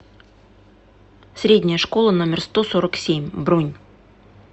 средняя школа номер сто сорок семь бронь